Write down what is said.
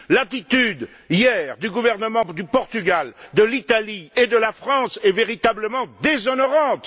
L'attitude, hier, des gouvernements du Portugal, de l'Italie et de la France est véritablement déshonorante.